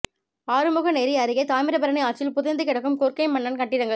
ஆறுமுகநேரி அருகே தாமிரபரணி ஆற்றில் புதைந்து கிடக்கும் கொற்கை மன்னன் கட்டிடங்கள்